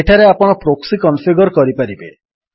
ଏଠାରେ ଆପଣ proxy configure କରିପାରିବେ